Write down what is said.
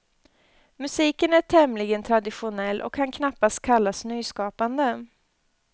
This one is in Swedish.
Musiken är tämligen traditionell och kan knappast kallas nyskapande.